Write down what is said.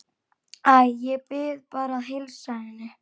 Æ, ég bið bara að heilsa henni